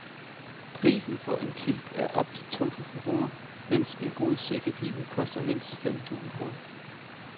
Prisen for en kilt er op til to tusind kroner, mens en god sækkepibe koster mindst fem tusind kroner.